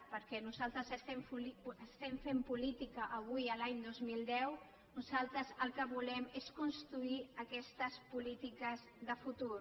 perquè nosaltres estem fent política avui l’any dos mil deu nosaltres el que volem és construir aquestes polítiques de futur